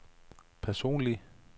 personlig